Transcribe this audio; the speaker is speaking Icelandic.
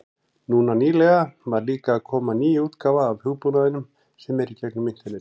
Núna nýlega var líka að koma ný útgáfa af hugbúnaðinum sem er í gegnum internetið.